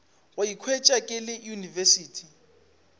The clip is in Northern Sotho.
go ikhwetša ke le university